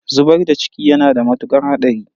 Zubar da ciki yana da mutuƙar haɗari.